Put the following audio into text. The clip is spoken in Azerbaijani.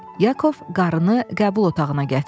Yakov qarıını qəbul otağına gətirdi.